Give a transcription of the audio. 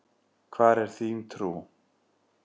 Hvar er þín trú?